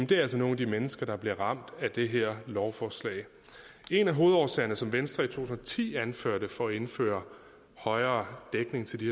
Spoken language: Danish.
det er altså nogle af de mennesker der bliver ramt af det her lovforslag en af hovedårsagerne som venstre i to tusind og ti anførte for at indføre højere dækning til de